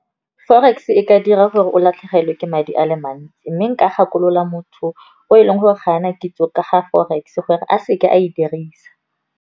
Forex e ka dira gore o latlhegelwe ke madi a le mantsi, mme nka gakolola motho o e leng gore ga bana kitso ka ga forex gore a seke a e dirisa.